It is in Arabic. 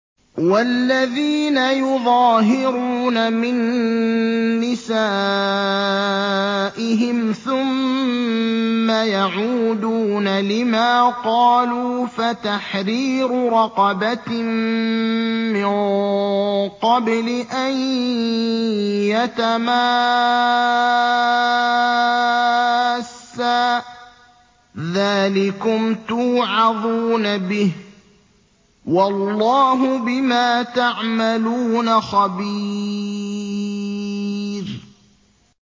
وَالَّذِينَ يُظَاهِرُونَ مِن نِّسَائِهِمْ ثُمَّ يَعُودُونَ لِمَا قَالُوا فَتَحْرِيرُ رَقَبَةٍ مِّن قَبْلِ أَن يَتَمَاسَّا ۚ ذَٰلِكُمْ تُوعَظُونَ بِهِ ۚ وَاللَّهُ بِمَا تَعْمَلُونَ خَبِيرٌ